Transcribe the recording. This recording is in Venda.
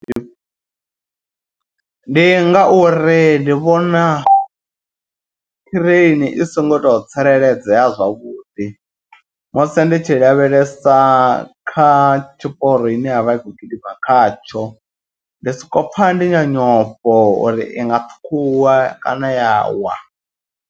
Ndi ngauri ndi vhona ṱireini i songo to tsireledzea zwavhuḓi. Musi ndi tshi lavhelesa kha tshiporo ine yavha i kho gidima khatsho. Ndi soko pfha ndi na nyofho uri inga ṱhukhuwa kana ya wa.